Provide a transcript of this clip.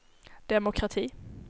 demokrati